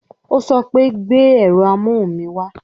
Ó sọ pé "gbé ẹ̀rọ amóhùn mi wá"